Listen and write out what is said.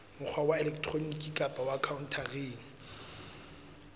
mokgwa wa elektroniki kapa khaontareng